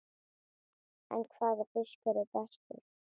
En hvaða fiskur er bestur?